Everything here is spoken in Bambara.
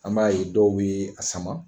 An b'a ye dɔw be a sama.